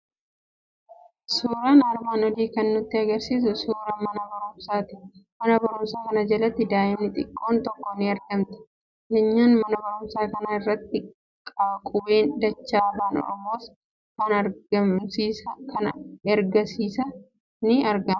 Suuraan armaan olii kan nutti argisiisu suuraa mana barumsaati. Mana barumsaa kana jalatti daa'imni xiqqoon tokko ni argamti. Keenyan mana barumsaa kana irratti qubeen dachaa afaan Oromoos kan ergisaas ni argamu.